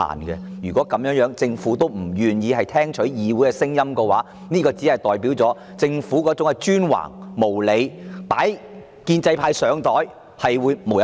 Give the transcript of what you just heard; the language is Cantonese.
若政府仍不願意聽取議會的意見，則顯示其專橫無理，"擺建制派上檯"的舉動將會無日無之。